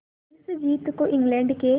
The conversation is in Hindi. इस जीत को इंग्लैंड के